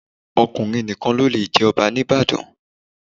Ọkùnrin nìkan ló le jẹ Ọba ní Ìbàdàn.